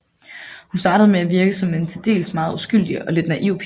Hun startede med at virke som en til dels meget uskyldig og lidt naiv pige